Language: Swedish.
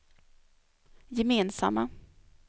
gemensamma